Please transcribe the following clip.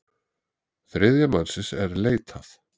Þriðja mannsins er leitað.